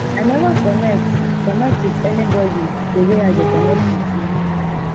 i never connect connect with anybody the way i dey connect with you